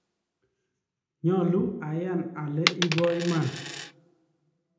nyolu ayan ale ibo iman